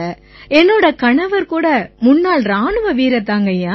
என் கணவர் முன்னாள் இராணுவ வீரர் ஐயா